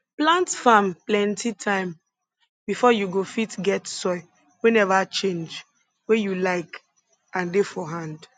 plant farm plenti time before you go fit get soil wey neva change wey you like and dey for hand